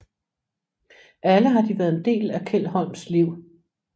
Alle har de været en del af Kjeld Holms liv